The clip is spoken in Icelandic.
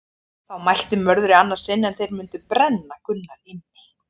Þá mælti Mörður í annað sinn að þeir mundi brenna Gunnar inni.